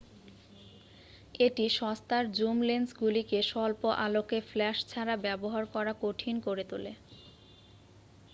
এটি সস্তার জুম লেন্সগুলিকে স্বল্প-আলোকে ফ্ল্যাশ ছাড়া ব্যবহার করা কঠিন করে তোলে